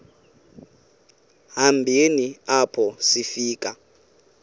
hambeni apho sifika